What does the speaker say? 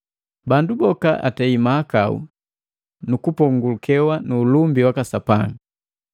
Bandu boka atei mahakau nukupongukewa nu ulumbi waka Sapanga.